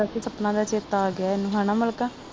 ਸਪਨਾ ਦਾ ਚੇਤਾ ਆਗਿਆ ਇਹਨੂੰ ਹਨਾ ਮਲਕਾ